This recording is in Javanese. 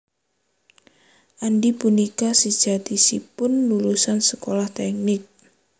Andy punika sejatosipun lulusan sekolah tèknik